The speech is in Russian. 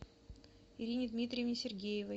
ирине дмитриевне сергеевой